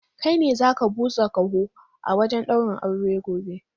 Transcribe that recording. Kai ne za ka busa kaho a wajen daurin aure gobe!